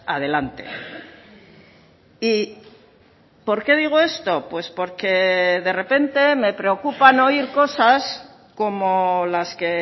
adelante y por qué digo esto pues porque de repente me preocupan oír cosas como las que